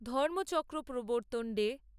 Dhammachakra Pravartan day